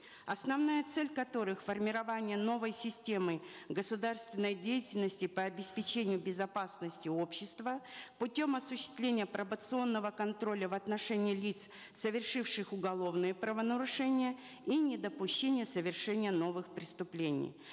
основная цель которых формирование новой системы государственной деятельности по обеспечению безопасности общества путем осуществления пробационного контроля в отношении лиц совершивших уголовные правонарушения и недопущение совершения новых преступлений